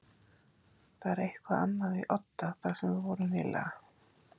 Það er eitthvað annað í Odda þar sem við vorum nýlega.